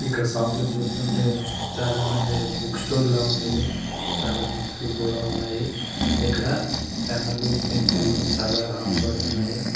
ఇక్కడ షాప్ లో చూస్తుంటే చాల మంది బుక్ స్టోర్ ల ఉంది ఇది చాలా బుక్స్ కూడా ఉన్నాయి ఇక్కడ పెన్ లు పెన్సిల్ లు చాలా అమ్మబడుతున్నాయి.